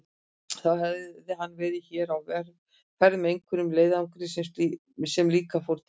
Þá hefði hann verið hér á ferð með einhverjum leiðangri sem líka fór til